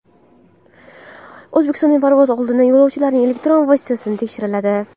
O‘zbekistonda parvoz oldidan yo‘lovchilarning elektron vositalari tekshiriladi.